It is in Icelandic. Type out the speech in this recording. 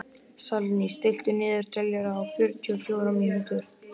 Salný, stilltu niðurteljara á fjörutíu og fjórar mínútur.